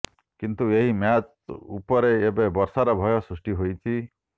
କିନ୍ତୁ ଏହି ମ୍ୟାଚ୍ ଉପରେ ଏବେ ବର୍ଷାର ଭୟ ସୃଷ୍ଟି ହୋଇଛି